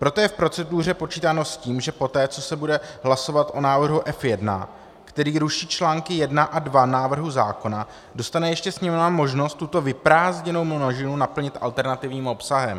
Proto je v proceduře počítáno s tím, že poté, co se bude hlasovat o návrhu F1, který ruší články I a II návrhu zákona, dostane ještě Sněmovna možnost tuto vyprázdněnou množinu naplnit alternativním obsahem.